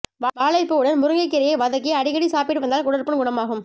வாழைப்பூவுடன் முருங்கைக் கீரையை வதக்கி அடிக்கடி சாப்பிட்டு வந்தால் குடற்புண் குணமாகும்